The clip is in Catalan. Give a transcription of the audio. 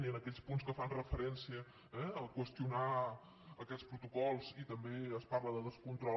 i en aquells punts que fan referència eh a qüestionar aquests protocols i també es parla de descontrol